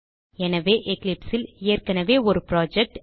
எனவே eclipseல் ஏற்கனவே ஒரு புரொஜெக்ட்